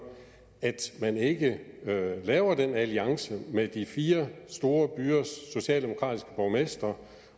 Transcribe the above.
at man ikke laver den alliance med de fire store byers socialdemokratiske borgmestre